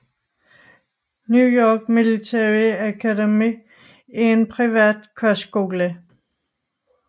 New York Military Academy er en privat kostskole